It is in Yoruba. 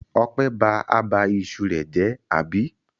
Ọpẹ́ ba abà iṣu rẹ̀ jẹ́, àbí?